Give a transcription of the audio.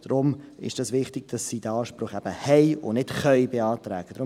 Deshalb ist es wichtig, dass sie diesen Anspruch und nicht nur beantragen .